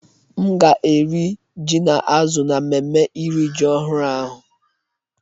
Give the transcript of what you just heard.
M ga-eri ji na azụ̀ na mmemme iri ji ọhụrụ ahụ.